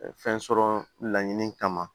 Fɛn sɔrɔ laɲini kama